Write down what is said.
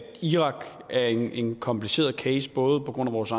irak er en kompliceret case på grund af vores